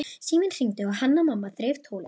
Síminn hringdi og Hanna-Mamma þreif tólið.